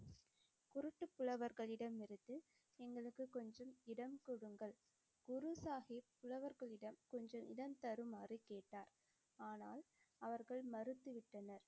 குருட்டு புலவர்களிடமிருந்து எங்களுக்குக் கொஞ்சம் இடம் கொடுங்கள், குரு சாஹிப் புலவர்களிடம் கொஞ்சம் இடம் தருமாறு கேட்டார், ஆனால் அவர்கள் மறுத்து விட்டனர்.